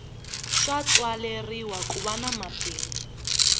swa tswaleriwa kuva nwa mabindzu